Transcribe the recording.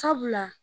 Sabula